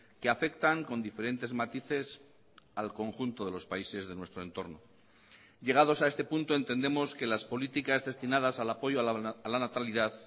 que afectan con diferentes matices al conjunto de los países de nuestro entorno llegados a este punto entendemos que las políticas destinadas al apoyo a la natalidad